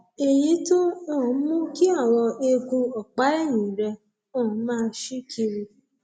èyí tó um mú kí àwọn eegun ọpá ẹyìn rẹ um máa ṣí kiri